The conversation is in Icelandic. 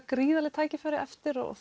gríðarleg tækifæri eftir og